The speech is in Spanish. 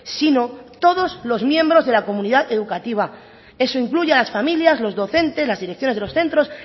sino todos los miembros de la comunidad educativa eso incluye a las familias los docentes las direcciones de los centros